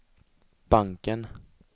banken